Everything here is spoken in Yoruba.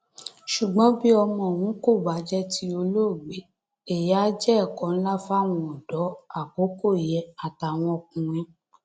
ṣùgbọn bí ọmọ ọhún kò bá jẹ ti olóògbé èyí á jẹ ẹkọ ńlá fáwọn ọdọ àkọkọ yìí àtàwọn ọkùnrin